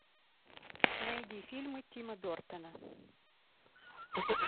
найди фильмы тима бертона